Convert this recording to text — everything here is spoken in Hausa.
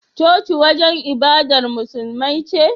Coci wajan ibadar musulmai ce